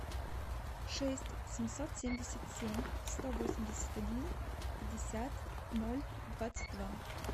шесть семьсот семьдесят семь сто восемьдесят один пятьдесят ноль двадцать два